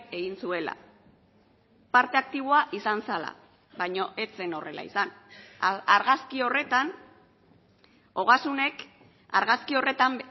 egin zuela parte aktiboa izan zela baina ez zen horrela izan argazki horretan ogasunek argazki horretan